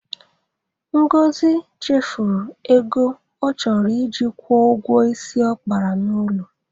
Ngozi chefuru ego ọ chọrọ iji kwụọ ụgwọ isi ọ kapara n'ụlọ.